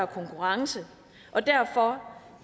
konkurrence og derfor